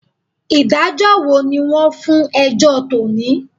Ìdájọ́ wo ni wọ́n fún ẹjọ́ tò ní?